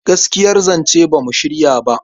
Gaskiyar zance ba mu shirya ba..